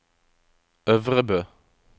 Øvrebø